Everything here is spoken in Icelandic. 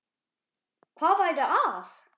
Hvað væri að?